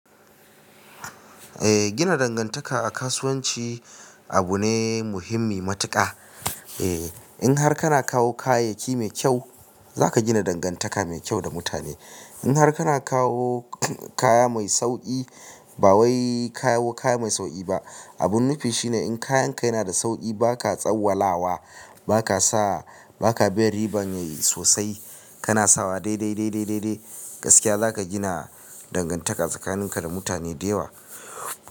Eh gina dangantaka a kasuwanci abu ne muhimmi matuka. Eh in har kana kawo kayayyaki mai kyau, za ka gina dangantaka mai kyau da mutane. In har kana kawo kaya mai sauki, ba wai kawo kaya mai sauki ba. Abun nufi shine in kayan ka yana da sauki, ba ka tsawwalawa, ba ka sa, ba ka bin riban sosai, kana sawa dai dai dai dai dai dai gaskiya za ka gina dangantaka tsakanin ka da mutane da yawa.